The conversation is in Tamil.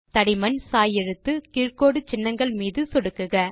தடிமன் சாய் எழுத்து கீழ் கோடு சின்னங்கள் மீது சொடுக்குக